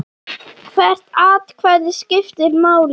Hvert atkvæði skiptir máli.